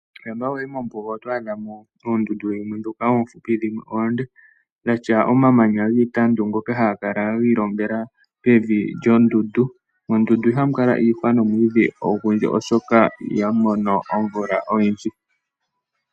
Shampa wayi mombuga oto adha mo oombuga dhimwe dhoka oofupi dhimwe oonde dhatya omamanya giitandu